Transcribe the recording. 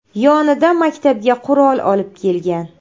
yonida maktabga qurol olib kelgan.